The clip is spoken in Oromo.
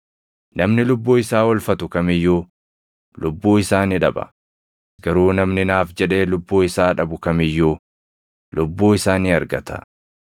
Namni lubbuu isaa oolfatu kam iyyuu lubbuu isaa ni dhaba; garuu namni naaf jedhee lubbuu isaa dhabu kam iyyuu lubbuu isaa ni argata.